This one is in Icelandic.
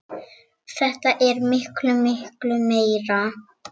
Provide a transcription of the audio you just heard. Séra Vigfús Þór Árnason þjónar.